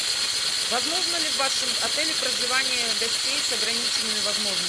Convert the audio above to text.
возможно ли в вашем отеле проживание гостей с ограниченными возможностями